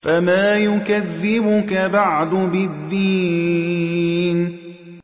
فَمَا يُكَذِّبُكَ بَعْدُ بِالدِّينِ